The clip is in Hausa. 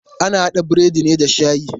Ana haɗa burodi ne da shayi.